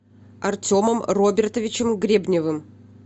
артемом робертовичем гребневым